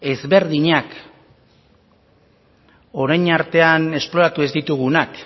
ezberdinak orain artean esploratu ez ditugunak